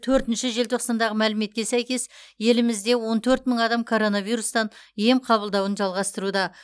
төртінші желтоқсандағы мәліметке сәйкес елімізде он төрт мың адам коронавирустан ем қабылдауын жалғастыруда